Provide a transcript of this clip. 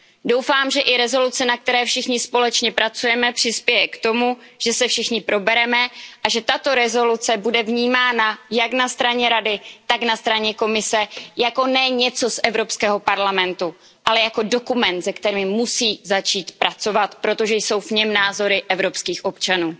Doufám, že i rezoluce, na které všichni společně pracujeme, přispěje k tomu, že se všichni probereme a že tato rezoluce bude vnímána jak na straně Rady, tak na straně Komise ne jako něco z Evropského parlamentu, ale jako dokument, se kterým musí začít pracovat, protože jsou v něm názory evropských občanů.